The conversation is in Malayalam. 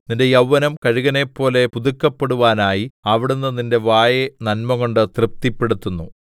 നിന്റെ യൗവനം കഴുകനെപ്പോലെ പുതുക്കപ്പെടുവാനായി അവിടുന്ന് നിന്റെ വായെ നന്മകൊണ്ടു തൃപ്തിപ്പെടുത്തുന്നു